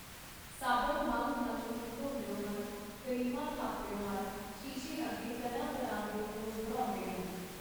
ਸਾਬਣ ਮੱਲ-ਮੱਲ ਮੂੰਹ ਧੋਂਦੇ ਹਨ, ਕਰੀਮਾਂ ਥੱਪਦਿਓ ਹਨ, ਸ਼ੀਸ਼ੇ ਅਗੇ ਤਰ੍ਹਾਂ ਤਰ੍ਹਾਂ ਦੇ ਪੋਜ਼ ਬਣਾਉਂਦੇ ਹਨ.